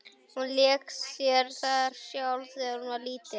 Hún lék sér þar sjálf þegar hún var lítil.